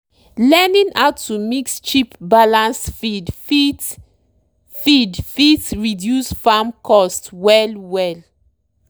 learning how to mix cheap balanced feed fit feed fit reduce farm cost well-well.